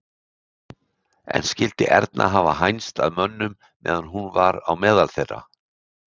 En skyldi Erna hafa hænst að mönnum meðan hún var á meðal þeirra?